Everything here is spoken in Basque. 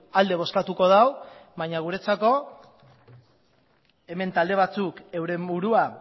alde bozkatuko du baina guretzako hemen talde batzuk euren burua